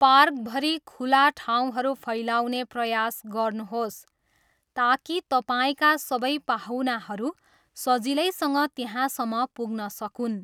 पार्कभरि खुला ठाउँहरू फैलाउने प्रयास गर्नुहोस् ताकि तपाईँका सबै पाहुनाहरू सजिलैसँग त्यहाँसम्म पुग्न सकून्।